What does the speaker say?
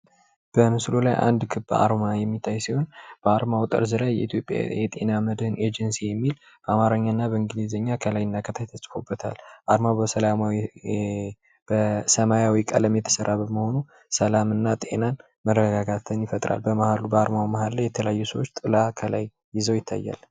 በምሥሉ ላይ አንድ ክብ አርማ የሚታይ ሲሆን ፤ በአርማው ጠርዝ ላይ የኢትዮጵያ የጤና መድህን ኤጀንሲ የሚል በአማርኛ እና በእንግሊዝኛ ከላይና ከታች ተጽፎበታል። አርማው በሰማያዊ ቀለም የተሰራ በመሆኑ ሰላምና ጤናን መረጋጋትን ይፈጥራል። በአርማው መሀል የተለያዩ ሰዎች ጥላ ከላይ ይዘው ይታያል።